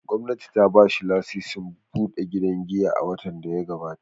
Gwamnati ta ba shi lasisin buɗe gidan giya a watan da ya gabata.